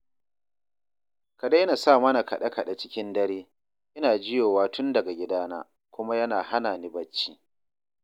Ka daina sa mana kaɗe-kaɗe cikin dare, ina jiyowa tun daga gidana, kuma yana hana ni bacci